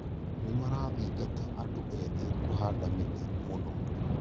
Nĩmarathingata andũ ethĩ kũhanda mĩtĩ mũno